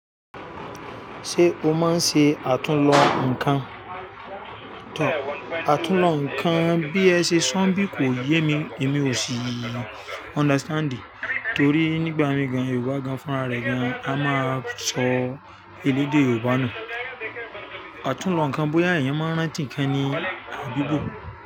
Ṣé o máa ń ṣe àtúnlọ̀ nǹkan? Àtúnlọ̀ nǹkan bí ẹ ṣe sọ̀bí kò yé mi, èmi ò sí understand torí nígbà mìíràn Yorùbá gan-an fúnra rẹ̀ gan-an a máa sọ elédè Yorùbá nù. Àtúnlọ̀ nǹkan bóyá ẹ̀yin máa ń rántí ǹkan ní àbí bó.